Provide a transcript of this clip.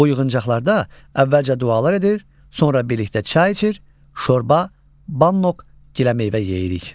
Bu yığıncaqlarda əvvəlcə dualar edir, sonra birlikdə çay içir, şorba, bannok, giləmeyvə yeyirik.